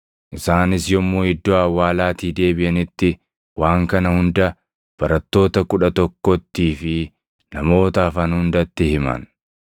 Isaanis yommuu iddoo awwaalaatii deebiʼanitti waan kana hunda barattoota kudha tokkottii fi namoota hafan hundatti himan.